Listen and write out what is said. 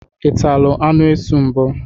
I tatụla anụ esu mbụ?